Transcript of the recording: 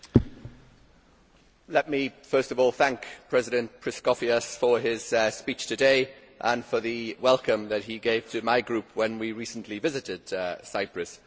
Mr President, let me first of all thank President Christofias for his speech today and for the welcome that he gave to my group when we recently visited Cyprus.